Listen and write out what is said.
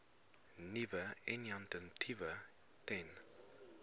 nuwe initiatiewe ten